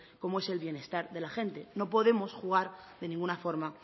como es el bienestar de la gente no podemos jugar de ninguna forma